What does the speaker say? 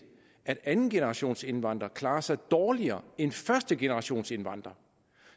at andengenerationsindvandrere klarer sig dårligere end førstegenerationsindvandrere